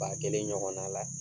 Ba kelen ɲɔgɔnna la